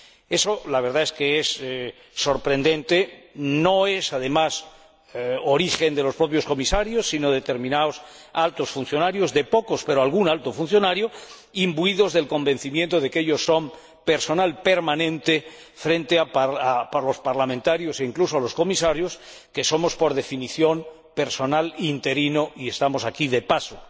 Eso que, la verdad, es sorprendente, no procede, además, de los propios Comisarios, sino de determinados altos funcionarios —de pocos, pero de algún alto funcionario—, imbuidos del convencimiento de que ellos son personal permanente, frente a los parlamentarios e incluso a los Comisarios, que somos, por definición, personal interino y estamos aquí de paso.